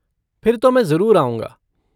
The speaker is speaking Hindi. फिर तो मैं ज़रूर आऊँगा।